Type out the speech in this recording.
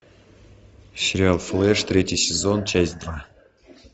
сериал флэш третий сезон часть два